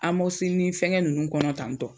Amɔgisilini fɛngɛn nunnu kɔnɔ tantɔ